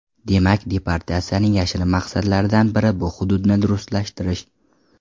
Demak, deportatsiyaning yashirin maqsadlaridan biri bu hududni ruslashtirish.